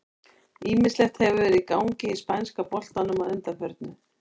Ýmislegt hefur verið í gangi í spænska boltanum að undanförnu.